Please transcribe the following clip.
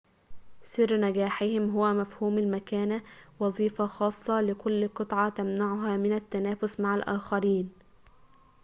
سر نجاحهم هو مفهوم المكانة وظيفة خاصة لكل قطة تمنعها من التنافس مع الآخرين